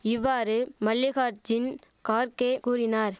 இவ்வாறு மல்லிகார்ஜின் கார்க்கே கூறினார்